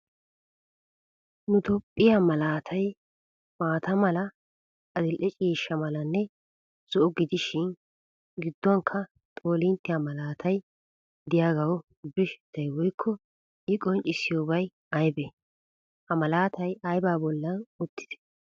Nu toophphiya malaatay maata mala, adil'e ciishsha malanne zo'o gidishin gidduwanikka xoolinttiya malaatay diyaagawu birshshettay woyikko I qonccissiyoobay ayibee? Ha malaatay ayibaa bollan uttidee?